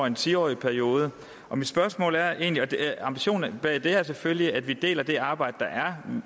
en ti årig periode og ambitionen bag det er selvfølgelig at vi deler det arbejde der er